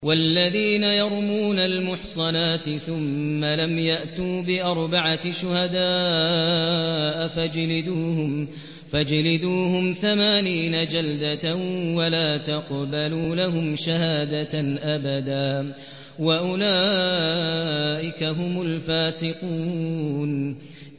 وَالَّذِينَ يَرْمُونَ الْمُحْصَنَاتِ ثُمَّ لَمْ يَأْتُوا بِأَرْبَعَةِ شُهَدَاءَ فَاجْلِدُوهُمْ ثَمَانِينَ جَلْدَةً وَلَا تَقْبَلُوا لَهُمْ شَهَادَةً أَبَدًا ۚ وَأُولَٰئِكَ هُمُ الْفَاسِقُونَ